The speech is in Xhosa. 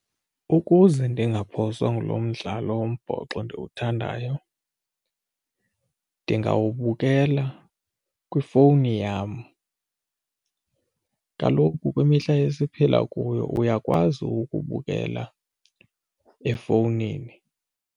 Ukuze ndingaphoswa ngulo mdlalo wombhoxo ndiwuthandayo ndingawubukela kwifowuni yam. Kaloku kwimihla esiphila kuyo uyakwazi ukubukela efowunini.